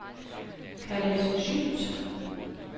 Khaled Schütt